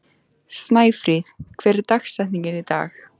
Snæfríð, hver er dagsetningin í dag?